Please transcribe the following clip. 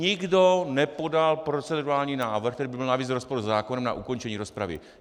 Nikdo nepodal procedurální návrh, který by byl navíc v rozporu se zákonem, na ukončení rozpravy.